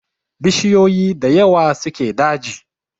Bishiyoyi da yawa suke daji